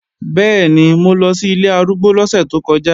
Bẹ́ẹ̀ni, mo lọ sí ilé arúgbó lọ́sẹ̀ tó kọjá